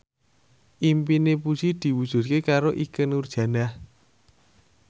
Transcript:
impine Puji diwujudke karo Ikke Nurjanah